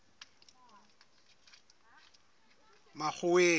makgoweng